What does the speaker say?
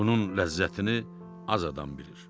Bunun ləzzətini az adam bilir.